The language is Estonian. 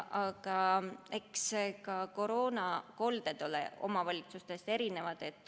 Aga eks ka koroonakolded ole omavalitsustes erinevad.